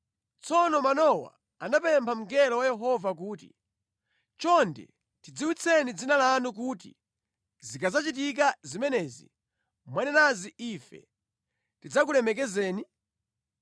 Tsono Manowa anapempha mngelo wa Yehova kuti, “Chonde tidziwitseni dzina lanu kuti zikadzachitika zimene mwanenazi ife tidzakulemekezeni?”